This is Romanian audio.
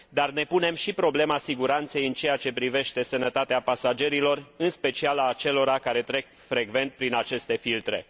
Ne punem, însă, și problema siguranței în ceea ce privește sănătatea pasagerilor, în special a celor care trec frecvent prin aceste filtre.